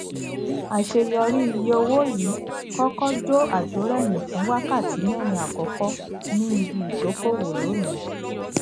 àṣẹ yọrí iye owó yìí kọkọ jó àjórẹyìn fún wákàtí mẹrin àkọkọ ni ibi ìdókòwò lónìí